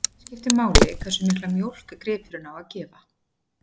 Einnig skiptir máli hversu mikla mjólk gripurinn á að gefa.